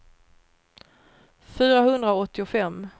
fyrahundraåttiofem